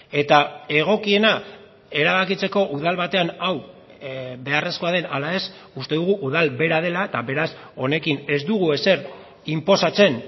eta egokiena erabakitzeko udal batean hau beharrezkoa den ala ez uste dugu udal bera dela eta beraz honekin ez dugu ezer inposatzen